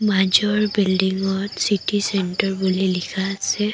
মাজৰ বিল্ডিঙত city centre বুলি লিখা আছে।